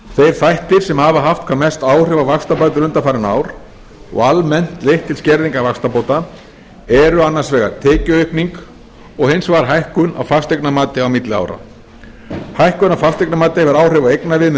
þeir þættir sem hafa haft hvað mest áhrif á vaxtabætur undanfarin ár og almennt leitt til skerðingar vaxtabóta eru annars vegar tekjuaukning og hins vegar hækkun á fasteignamati á milli ára hækkun á fasteignamati hefur áhrif á eignaviðmið